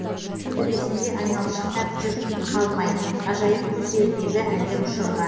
төбесінде айналшықтап жүр қалмай ғажайып құс ертегі әлем ұшырған